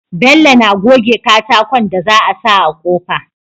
Bello na goge katakon da za a sa a kofa